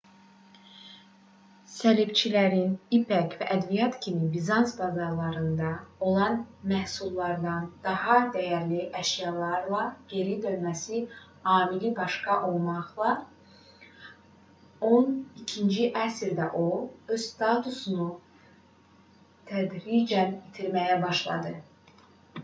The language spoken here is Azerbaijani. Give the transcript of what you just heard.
səlibçilərin ipək və ədviyyatlar kimi bizans bazarlarında olan məhsullardan daha dəyərli əşyalarla geri dönməsi amili başda olmaqla on ikinci əsrdə o öz statusunu tədricən itirməyə başladı